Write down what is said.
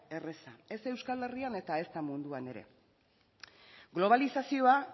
erreza ez da euskal herrian eta ezta munduan ere globalizazioa